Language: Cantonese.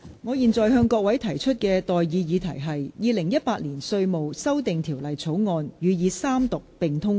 我現在向各位提出的待議議題是：《2018年稅務條例草案》予以三讀並通過。